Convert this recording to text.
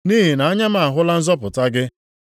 Nʼihi na anya m ahụla nzọpụta gị,